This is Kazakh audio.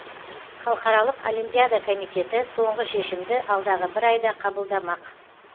халықаралық олимпиада комитеті соңғы шешімді алдағы бір айда қабылдамақ